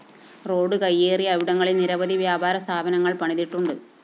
road കയ്യേറി ഇവിടങ്ങളില്‍ നിരവധി വ്യാപാരസ്ഥാപനങ്ങള്‍ പണിതിട്ടുണ്ട്